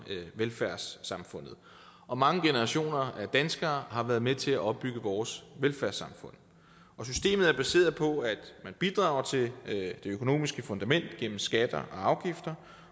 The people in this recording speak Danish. velfærdssamfundet og mange generationer af danskere har været med til at opbygge vores velfærdssamfund og systemet er baseret på at man bidrager til det økonomiske fundament gennem skatter og afgifter